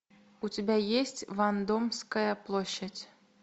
у тебя есть вандомская площадь